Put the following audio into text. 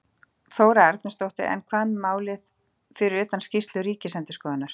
Þóra Arnórsdóttir: En hvað með málið fyrir utan skýrslu ríkisendurskoðunar?